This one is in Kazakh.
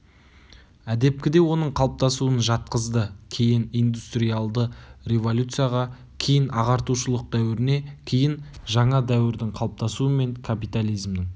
әдепкіде оның қалыптасуын жатқызды кейін индустриалды революцияға кейін ағартушылық дәуіріне кейін жаңа дәуірдің қалыптасуы мен капитализмнің